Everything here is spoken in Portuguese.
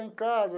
Em casa.